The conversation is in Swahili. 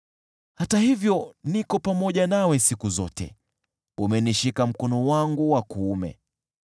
Hata hivyo niko pamoja nawe siku zote, umenishika mkono wangu wa kuume.